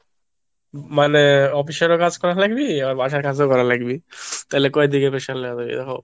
মানে মানে অফিসেরও কাজ করার লাগবে আমার বাসায় কাজও করা লাগবে তাহলে কয়দিকে pressure লাগবো এরকম।